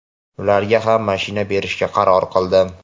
ularga ham mashina berishga qaror qildim.